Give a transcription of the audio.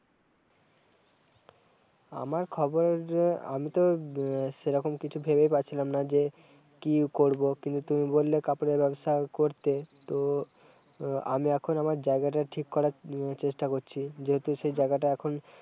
আমার খবর আমি তো সেইরকম কিছু ভেবে পাচ্ছিলাম না যে, কি করব, কিন্তু তুমি বললে কাপড়ের ব্যবসা করতে, তো আমি এখন আমার জায়গাটা ঠিক করার ম-চেষ্টা করছি যেহেতু সেই জায়গাটা এখন-